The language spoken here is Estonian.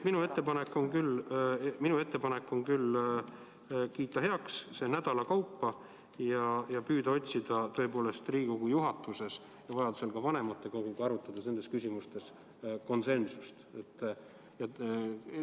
Minu ettepanek on kiita heaks need otsused nädalate kaupa ja püüda Riigikogu juhatuses ja vajadusel ka vanematekoguga arutades nendes küsimustes konsensust leida.